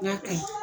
N k'a ka ɲi